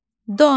Don.